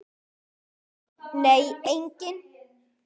Nei, enginn